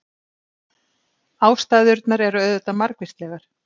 Ástæðurnar eru auðvitað margvíslegar.